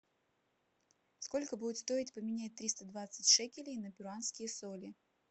сколько будет стоить поменять триста двадцать шекелей на перуанские соли